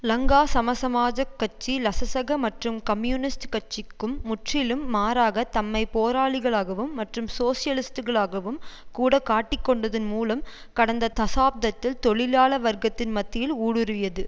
லங்கா சமசமாஜக் கட்சி லசசக மற்றும் கம்யூனிஸ்ட் கட்சிக்கும் முற்றிலும் மாறாக தம்மை போராளிகளாகவும் மற்றும் சோசலிஸ்டுகளாகவும் கூட காட்டிக்கொண்டதன் மூலம் கடந்த தசாப்தத்தில் தொழிலாள வர்க்கத்தின் மத்தியில் ஊடுருவியது